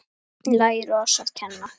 Lær oss að kenna